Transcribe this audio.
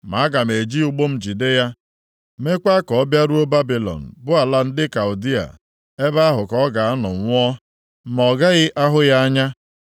Ma aga m eji ụgbụ m jide ya, meekwa ka ọ bịaruo Babilọn bụ ala ndị Kaldịa. Ebe ahụ ka ọ ga-anọ nwụọ, ma ọ gaghị ahụ ya anya.